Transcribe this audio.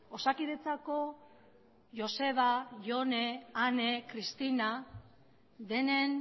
osakidetzako joseba jone ane cristina denen